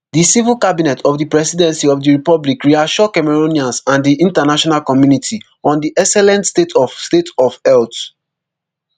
di civil cabinet of di presidency of di republic reassure cameroonians and di international community on di excellent state of state of health